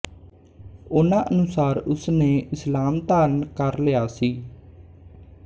ਉਨ੍ਹਾਂ ਅਨੁਸਾਰ ਉਸ ਨੇ ਇਸਲਾਮ ਧਾਰਨ ਕਰ ਲਿਆ ਸੀ